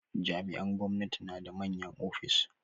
Jami'an gwamnati na da manyan ofis.